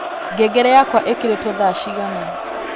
ngengere yakwa īkīrītwo thaa cigana